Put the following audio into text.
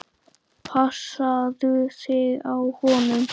Passaðu þig á honum.